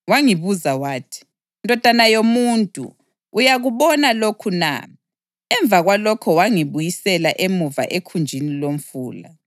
Wangibuza wathi, “Ndodana yomuntu, uyakubona lokhu na?” Emva kwalokho wangibuyisela emuva ekhunjini lomfula.